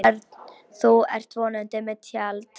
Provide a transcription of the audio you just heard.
Örn, þú ert vonandi með tjald